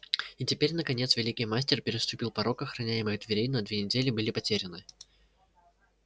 и теперь наконец великий мастер переступил порог охраняемых дверей но две недели были потеряны